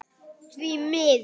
Því miður.